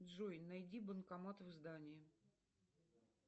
джой найди банкомат в здании